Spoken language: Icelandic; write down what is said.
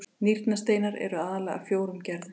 nýrnasteinar eru aðallega af fjórum gerðum